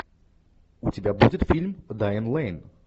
у тебя будет фильм дайан лэйн